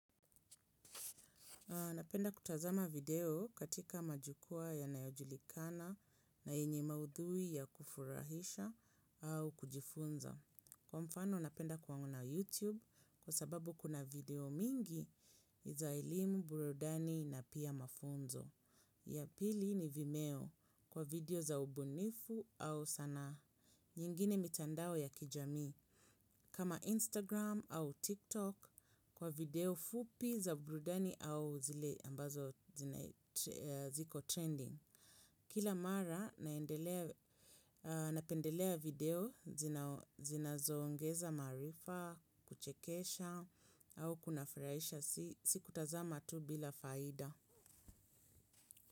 Napenda kutazama video katika majukwaa yanayojulikana na yenye maudhui ya kufurahisha au kujifunza. Kwa mfano napenda kuona YouTube kwa sababu kuna video mingi za elimu, burudani na pia mafunzo. Ya pili ni vimeo kwa video za ubunifu au sanaa. Nyingine mitandao ya kijamii. Kama Instagram au TikTok kwa video fupi za burudani au zile ambazo ziko trending. Kila mara napendelea video zina zoongeza maarifa, kuchekesha au kunafuraisha si kutazama tu bila faida.